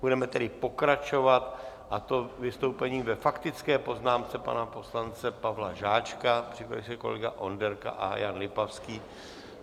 Budeme tedy pokračovat, a to vystoupením ve faktické poznámce pana poslance Pavla Žáčka, připraví se kolega Onderka a Jan Lipavský.